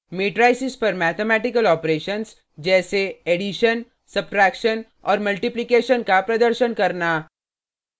matrices पर mathematical operations जैसेएडिशन subtraction और मल्टीप्लीकेशन का प्रदर्शन करना